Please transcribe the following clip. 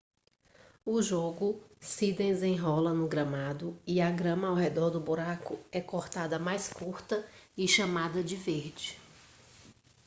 o jogo se desenrola no gramado e a grama ao redor do buraco é cortada mais curta e chamada de verde